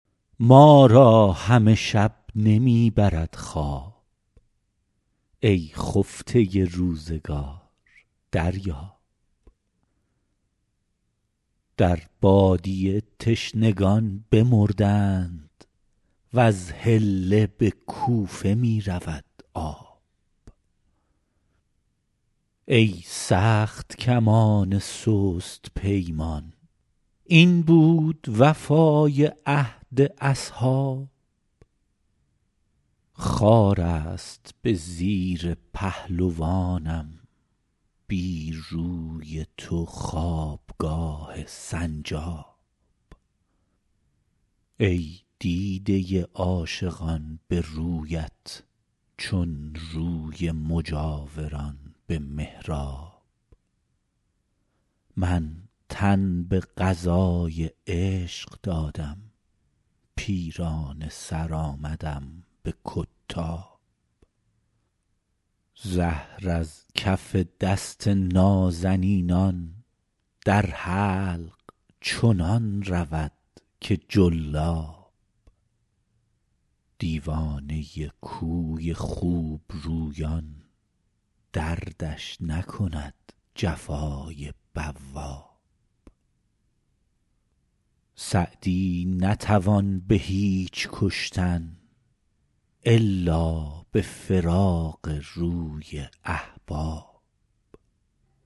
ما را همه شب نمی برد خواب ای خفته روزگار دریاب در بادیه تشنگان بمردند وز حله به کوفه می رود آب ای سخت کمان سست پیمان این بود وفای عهد اصحاب خار است به زیر پهلوانم بی روی تو خوابگاه سنجاب ای دیده عاشقان به رویت چون روی مجاوران به محراب من تن به قضای عشق دادم پیرانه سر آمدم به کتاب زهر از کف دست نازنینان در حلق چنان رود که جلاب دیوانه کوی خوبرویان دردش نکند جفای بواب سعدی نتوان به هیچ کشتن الا به فراق روی احباب